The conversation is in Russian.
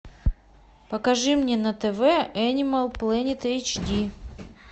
покажи мне на тв энимал плэнет эйч ди